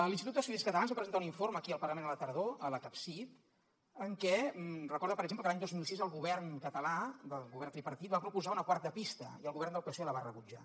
l’institut d’estudis catalans va presentar un informe aquí al parlament a la tardor al capcit en què recorda per exemple que l’any dos mil sis el govern català el govern tripartit va proposar una quarta pista i el govern del psoe la va rebutjar